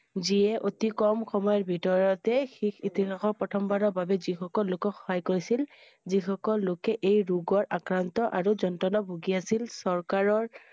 জিহে অতি কম সময়ৰ ভিতৰতে শেষ ইতিহাসৰ প্ৰথমবাৰৰ বাবে জি শকুল লোকক সহায় কৰিছিল । যে সকুল লোকে এই ৰোগৰ আক্ৰান্ত আৰু যন্ত্ৰণা ভুগি আছিল । চৰকাৰৰ